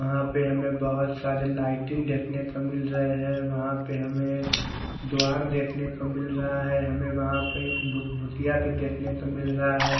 वहा पेड़ में बहोत सारे लाइटिंग देखने को मिल रहे है वहा पर हमे एक द्वार देखने को मिल रहा है हमे वहा पर एक भ-भूतिया को देखने को मिल रहा है।